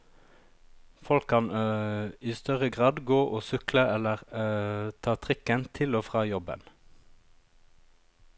Folk kan i større grad gå og sykle, eller ta trikken til og fra jobben.